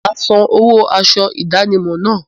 Mà á san owó aṣọ ìdánimọ̀ náà.